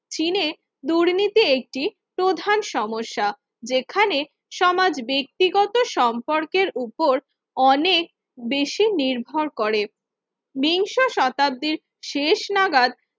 চীনে দুর্নীতি একটি প্রধান সমস্যা যেখানে সমাজ ব্যক্তিগত সম্পর্কের উপর অনেক বেশি নির্ভর করে বিংশ শতাব্দীর শেষ নাগাদ